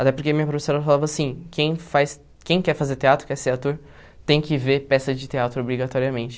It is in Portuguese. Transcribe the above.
Até porque minha professora falava assim, quem faz quem quer fazer teatro, quer ser ator, tem que ver peça de teatro obrigatoriamente.